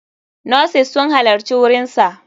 Nurses sun halarci wurinsa.